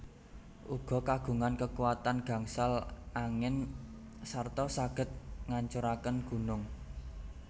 Uga kagungan kekuatan gangsal angin serta saged ngancuraken gunung